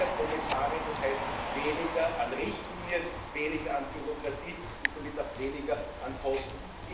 Weniger Kommissare, das heißt weniger an Richtlinien, weniger an Bürokratie und damit auch weniger an Kosten.